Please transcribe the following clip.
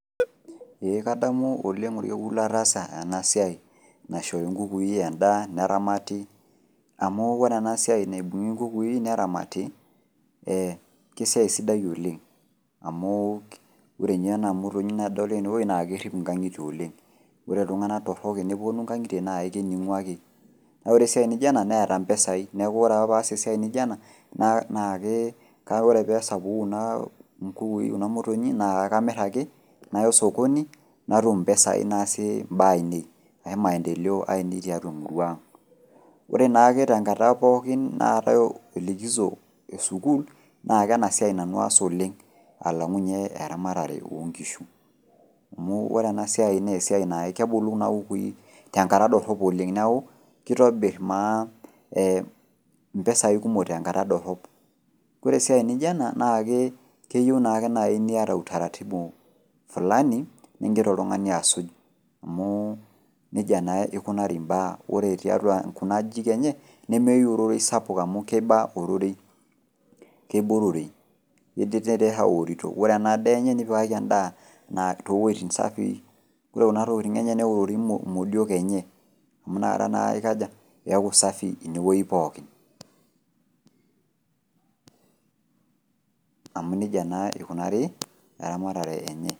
Ee kadamu oleng' olkekun lataasa enasiai naishori inkukui endaa neramati, amu ore enasiai naibung'i inkukui neramati eeh kesiai sidai oleng amuu ore ninye ena motonyi nadol tenewuei naakerrip ingang'itie oleng'. Ore iltung'ana torrok enepuonu ingang'itie naaikening'u ake. Naa ore esiai niji ena neeta mpesai neaku ore ake paas esiai nijo ena naa nakee, kake ore peesapuku kunaa kukui kuna motonyi naa akamirr ake nayo sokoni natum impesai naasie imbaanei ai maendeleo ai tiatua emuruang'. Ore jaake tenkata pookin naatai likiso esukul naake ena siai nanu aas oleng' alang'u ninye eramatare oonkishu amu ore ena siai neesiai naake kebulu kuna kukui tenkata dorrop oleng' neaku keitobirr maa ee mpesai kumok tenkata dorrop. Koresiai nijo ena naakee keyou nake nai niata utaratibu fulani nigira oltung'ani asuj amuu neija naa eikonari imbaa ore tiatua kunaajijik enye nemeyou ororei sapuk amu keiba ororei, keibororei. Ore ena daa enye nipikaki endaa naa towueitin safii kore kuna tokitin enye neorori modiok enye amu nakata naa eikaja, eaku  safi inewuei pookin, amu neija naa eikunari eramatare enye.